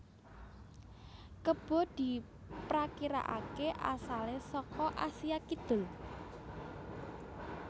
Kebo diprakirakaké asalé saka Asia Kidul